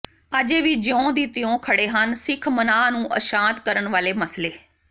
ਅਜੇ ਵੀ ਜਿਉਂ ਦੀ ਤਿਉਂ ਖੜ੍ਹੇ ਹਨ ਸਿੱਖ ਮਨਾਂ ਨੂੰ ਅਸ਼ਾਂਤ ਕਰਨ ਵਾਲੇ ਮਸਲੇ